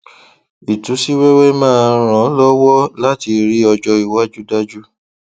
ìtú sí wẹwẹ máa ràn lọwọ láti rí ọjọ iwájú dájú